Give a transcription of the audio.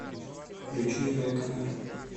включи реконер